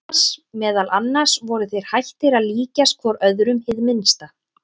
Meðal annars voru þeir hættir að líkjast hvor öðrum hið minnsta.